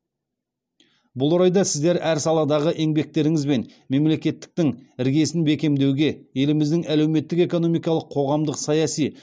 бұл орайда сіздер әр саладағы еңбектеріңізбен мемлекеттіліктің іргесін бекемдеуге еліміздің әлеуметтік экономикалық қоғамдық саяси